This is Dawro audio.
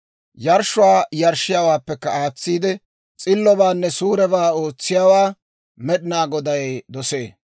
Yarshshuwaa yarshshiyaawaappekka aatsiide, s'illobaanne suurebaa ootsiyaawaa Med'inaa Goday dosee.